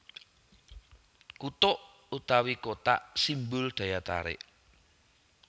Kutuk utawi Kotak simbol daya tarik